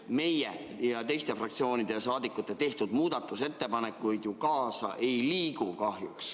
Meie ja teiste fraktsioonide liikmete tehtud muudatusettepanekuid ju selle tõstmisega kaasa ei liigu kahjuks.